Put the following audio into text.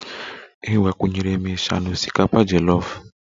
Ee, agbakwunyere m isha na osikapa jolof